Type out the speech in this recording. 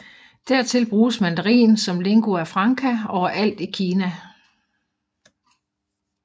Dertil bruges mandarin som lingua franca overalt i Kina